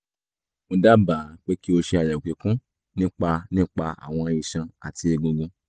mo dábàá pé kí o ṣe àyẹ̀wò kíkún nípa nípa àwọn iṣan àti egungun